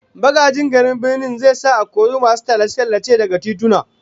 Magajin garin Birnin zai sa a kori masu tallace-tallace daga tituna